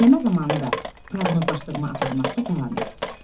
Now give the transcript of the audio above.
Dinləmə zamanı da proqnozlaşdırma aparmaqda davam et.